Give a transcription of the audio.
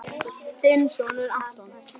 Þinn sonur, Anton.